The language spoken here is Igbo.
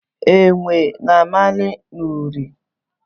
Enwe na-amali n’ụrị.